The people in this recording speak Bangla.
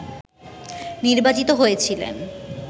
নির্বাচিত হয়েছিলেন